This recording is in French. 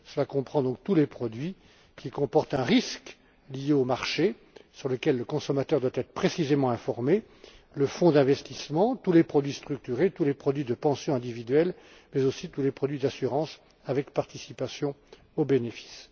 Cela comprend donc tous les produits qui comportent un risque lié au marché, sur lequel le consommateur doit être précisément informé le fonds d'investissement, tous les produits structurés, tous les produits de pension individuels, mais aussi tous les produits d'assurance avec participation aux bénéfices.